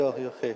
Yox, yox, xeyr.